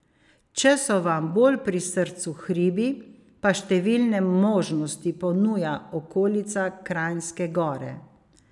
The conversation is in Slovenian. Če so vam bolj pri srcu hribi, pa številne možnosti ponuja okolica Kranjske Gore.